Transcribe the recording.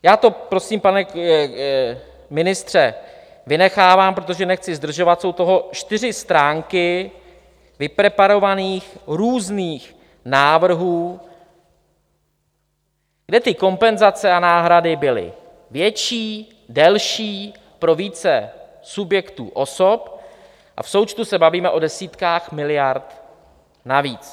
Já to prosím, pane ministře, vynechávám, protože nechci zdržovat, jsou toho čtyři stránky vypreparovaných různých návrhů, kde ty kompenzace a náhrady byly větší, delší, pro více subjektů, osob a v součtu se bavíme o desítkách miliard navíc.